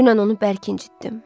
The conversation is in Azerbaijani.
Dünən onu bərk incitdim.